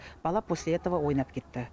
бала после этого ойнап кетті